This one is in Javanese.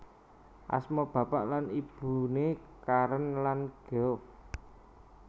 Asma bapak lan ibune Karen lan Geoff